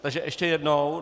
Takže ještě jednou.